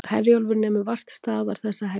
Herjólfur nemur vart staðar þessa helgina